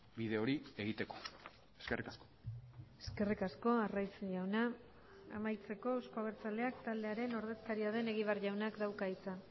bide hori egiteko eskerrik asko eskerrik asko arraiz jauna amaitzeko euzko abertzaleak taldearen ordezkaria den egibar jaunak dauka hitza